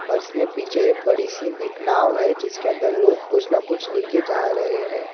और इसमें पीछे बड़ी सी एक नाव है जिसके अंदर लोग कुछ ना कुछ ले के जा रहे हैं।